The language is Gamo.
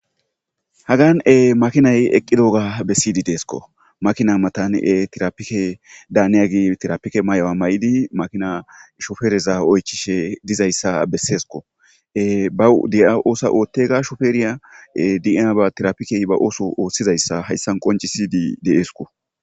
Hagan'e makinay eqqi dooga bessiydi deesko makina matan'e tirapike daaniyagi tirapike may'awa ma'idi makina shofereza oycishe dizayssa besseesko ba di'a oosa oothtega shofeeriya dia ba tirapikey ba ooso ooththizayssa hayssan qonci sidi deeesko.